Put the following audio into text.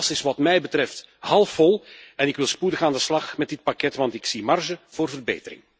Het glas is wat mij betreft halfvol, en ik wil spoedig aan de slag met dit pakket want ik zie ruimte voor verbetering.